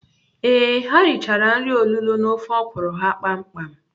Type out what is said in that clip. Ee, ha richara nri olulo na ofe ọkwụrụ ha kpam kpam.